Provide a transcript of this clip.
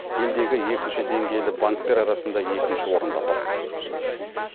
елдегі екінші деңгейлі банктер арасында екінші орында тұр